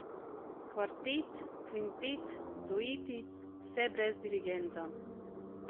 Kvartet, kvintet, dueti, vse brez dirigenta.